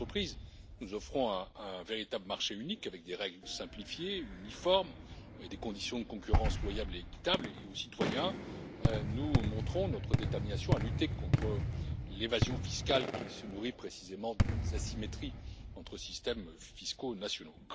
Aux entreprises, nous offrons un véritable marché unique, avec des règles simplifiées, uniformes et des conditions de concurrence loyales et équitables, et aux citoyens, nous montrons notre détermination à lutter contre l'évasion fiscale qui se nourrit précisément des asymétries entre systèmes fiscaux nationaux.